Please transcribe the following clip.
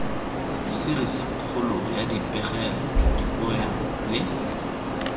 serisikgolong ya dipegelo dipoelo le